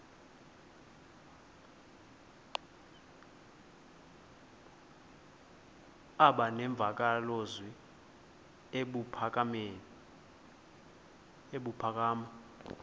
aba nemvakalozwi ebuphakama